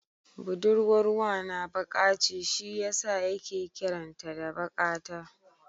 Budurwar wana baƙa ce shi yasa yake kiran ta da Baƙata.